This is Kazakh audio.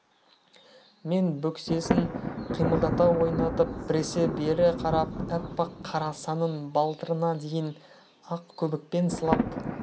мен бөксесін қимылдата ойнатып біресе бері қарап аппақ қара санын балтырына дейін ақ көбікпен сылап